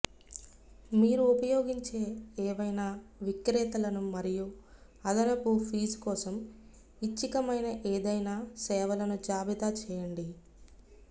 మీరు ఉపయోగించే ఏవైనా విక్రేతలను మరియు అదనపు ఫీజు కోసం ఐచ్ఛికమైన ఏదైనా సేవలను జాబితా చేయండి